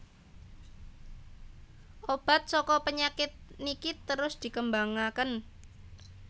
Obat saka penyakit niki terus dikembangaken